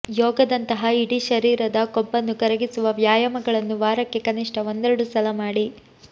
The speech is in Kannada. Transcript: ಯೋಗದಂತಹ ಇಡೀ ಶರೀರದ ಕೊಬ್ಬನ್ನು ಕರಗಿಸುವ ವ್ಯಾಯಾಮಗಳನ್ನು ವಾರಕ್ಕೆ ಕನಿಷ್ಠ ಒಂದೆರಡು ಸಲ ಮಾಡಿ